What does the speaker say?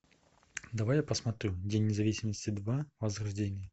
давай я посмотрю день независимости два возрождение